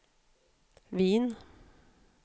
Wien